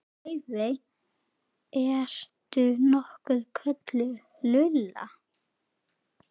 Laufey- ertu nokkuð kölluð Lulla?